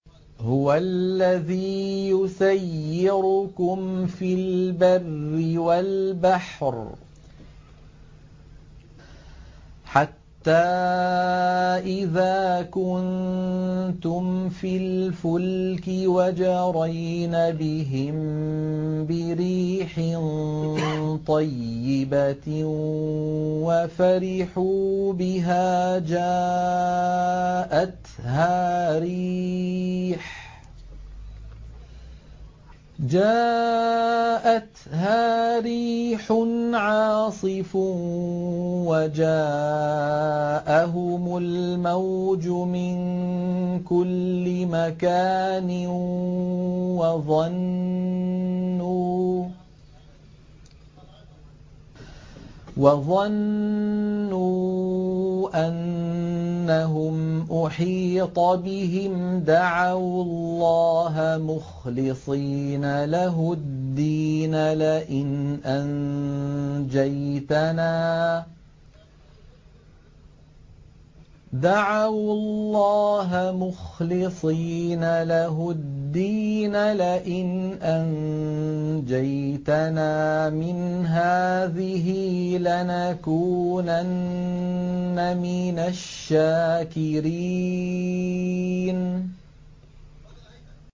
هُوَ الَّذِي يُسَيِّرُكُمْ فِي الْبَرِّ وَالْبَحْرِ ۖ حَتَّىٰ إِذَا كُنتُمْ فِي الْفُلْكِ وَجَرَيْنَ بِهِم بِرِيحٍ طَيِّبَةٍ وَفَرِحُوا بِهَا جَاءَتْهَا رِيحٌ عَاصِفٌ وَجَاءَهُمُ الْمَوْجُ مِن كُلِّ مَكَانٍ وَظَنُّوا أَنَّهُمْ أُحِيطَ بِهِمْ ۙ دَعَوُا اللَّهَ مُخْلِصِينَ لَهُ الدِّينَ لَئِنْ أَنجَيْتَنَا مِنْ هَٰذِهِ لَنَكُونَنَّ مِنَ الشَّاكِرِينَ